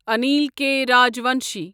عنیٖل کے راجوانشی